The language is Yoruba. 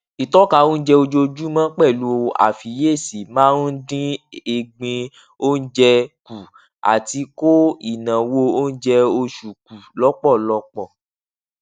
ìtọka onjẹ ojoojúmọ pẹlú àfiyesi máa ń dín egbin onjẹ kù àti kó ináwó oúnjẹ oṣù kù lọpọlọpọ